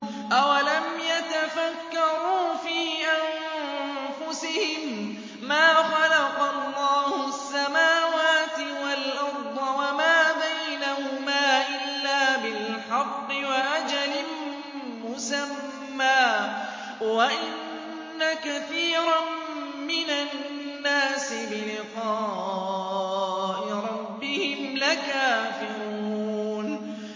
أَوَلَمْ يَتَفَكَّرُوا فِي أَنفُسِهِم ۗ مَّا خَلَقَ اللَّهُ السَّمَاوَاتِ وَالْأَرْضَ وَمَا بَيْنَهُمَا إِلَّا بِالْحَقِّ وَأَجَلٍ مُّسَمًّى ۗ وَإِنَّ كَثِيرًا مِّنَ النَّاسِ بِلِقَاءِ رَبِّهِمْ لَكَافِرُونَ